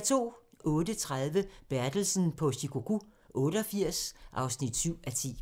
08:30: Bertelsen på Shikoku 88 (7:10)